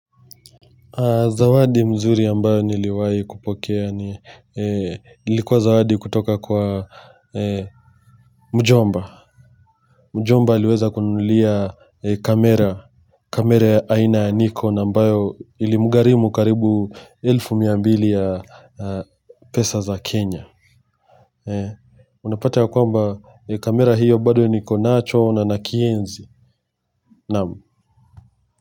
Zawadi mzuri ambayo niliwahi kupokea ni likuwa zawadi kutoka kwa mjomba. Mjomba aliweza kuninulia kamera kamera aina ya nikon ambayo ilimugharimu karibu elfu miambili ya pesa za kenya unapata ya kwamba kamera hiyo bado niko nacho na nakienzi naam.